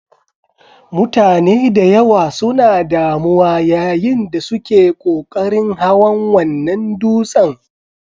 Mutane da yawa suna damuwa yayin da suke ƙoƙarin hawan wannan dutsen.